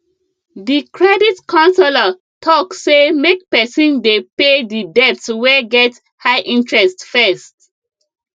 the credit counselor talk say make person dey pay the debts wey get high interest first